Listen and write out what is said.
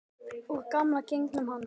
Úr gamla genginu hans.